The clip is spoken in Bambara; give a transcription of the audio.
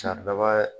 Saridaba